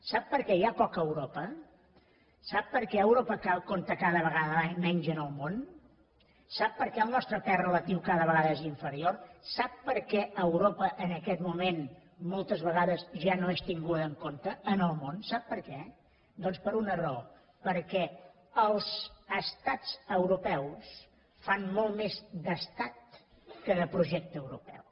sap per què hi ha poca europa sap per què europa compta cada vegada menys en el món sap per què el nostre pes relatiu cada vegada és inferior sap per què europa en aquest moment moltes vegades ja no és tinguda en compte en el món sap per què doncs per una raó perquè els estats europeus fan molt més d’estat que de projecte europeu